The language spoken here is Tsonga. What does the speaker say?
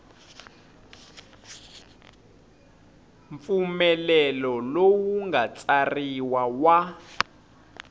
mpfumelelo lowu nga tsariwa wa